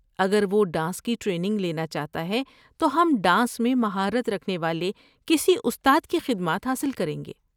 اگر وہ ڈانس کی ٹریننگ لینا چاہتا ہے تو ہم ڈانس میں مہارت رکھنے والے کسی استاد کی خدمات حاصل کریں گے۔